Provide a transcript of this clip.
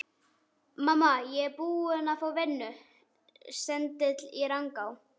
Mamma ég er búinn að fá vinnu, sendill í Rangá.